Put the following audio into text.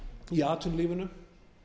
í atvinnulífinu